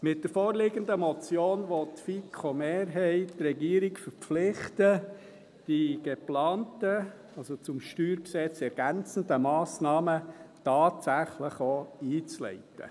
Mit der vorliegenden Motion will die FiKo-Mehrheit die Regierung verpflichten, die geplanten, das StG ergänzenden Massnahmen tatsächlich auch einzuleiten.